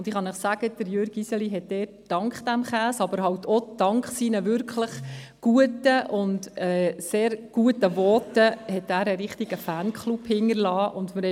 Ich kann Ihnen sagen, dass Jürg Iseli dort dank dem Käse, aber auch dank seiner wirklich sehr guten Voten einen richtigen Fanklub hinterlassen hat.